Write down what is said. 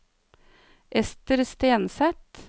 Esther Stenseth